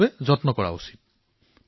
ইয়াৰ বাবে প্ৰয়াস কৰা আৱশ্যক